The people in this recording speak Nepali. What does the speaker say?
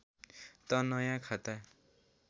त नयाँ खाता